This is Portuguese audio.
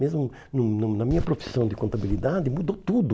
Mesmo no no na minha profissão de contabilidade, mudou tudo.